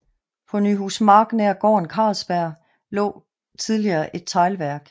På Nyhusmark nær gården Carlsbjerg lå tidligere et teglværk